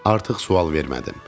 Artıq sual vermədim.